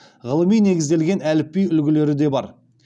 ғылыми негізделген әліпби үлгілері де бар